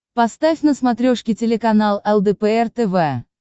поставь на смотрешке телеканал лдпр тв